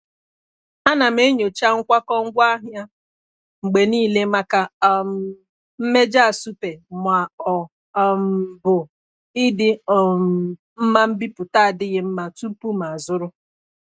A na m enyocha nkwakọ ngwaahịa mgbe niile maka um mmejọ asụpe ma ọ um bụ ịdị um mma mbipụta adịghị mma tupu m azụrụ.